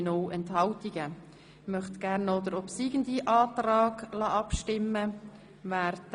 Ich möchte noch über den obsiegenden Antrag abstimmen lassen.